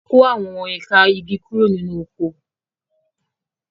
A kó àwọn ẹ̀ka igi kúrò nínú oko.